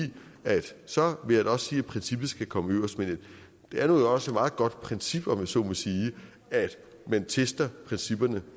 at så vil også sige at princippet skal komme øverst men det er også et meget godt princip om jeg så må sige at man tester principperne